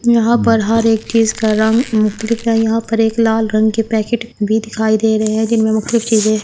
यहाँ पर हर एक चीज का रंग मुख्तलिफ है यहां पर एक लाल रंग के पैकेट भी दिखाई दे रहे हैं जिनमें मुख्तलिफ चीजें--